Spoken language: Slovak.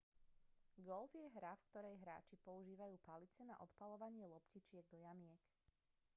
golf je hra v ktorej hráči používajú palice na odpaľovanie loptičiek do jamiek